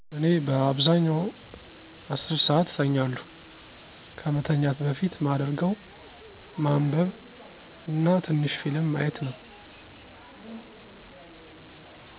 እኔ በአብዛኛው 10 ሰዓት እተኛለሁ፣ ከመተኛት በፊት ማደርገው ማንበብ እና ትንሽ ፊልም ማየት ነው።